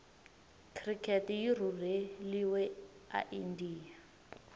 cricket yirhurheliwe aindia